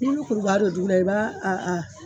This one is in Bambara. Nko ni kurubaa bɛ dugura i b'a a